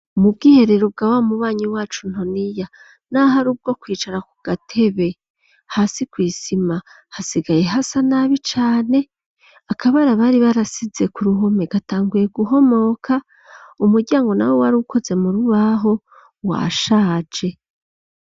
Mu bwiherero bwa wa mubanyi wacu Ntoniya, naho ari ubwo kwicara ku gatebe, hasi kw'isima hasigaye hasa nabi cane, akabara bari barasize ku ruhome gatanguye guhomoka, umuryango nawo wari ukoze mu rubaho washaje.